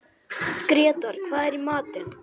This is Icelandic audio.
Grétar, hvað er í matinn?